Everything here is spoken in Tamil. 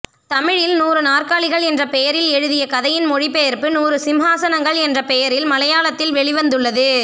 தமிழில் நூறுநாற்காலிகள் என்ற பெயரில் எழுதிய கதையின் மொழிபெயர்ப்பு நூறு சிம்ஹாசனங்கள் என்ற பெயரில் மலையாளத்தில் வெளிவந்துள்ளது